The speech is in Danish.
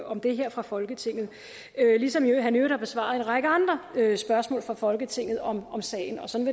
om det her fra folketinget ligesom han i øvrigt har besvaret en række andre spørgsmål fra folketinget om sagen og sådan